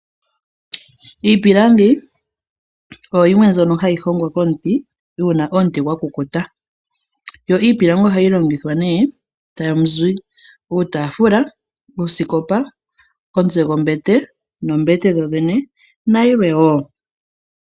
Iipilangi oyo yimwe mbyono hayi hongwa momuti uuna omuti gwa kukuta. Iipilangi ohayi longithwa nee tamu zi uutaafula, osikopa, omutse gombete noombete dhodhene na yilwe wo.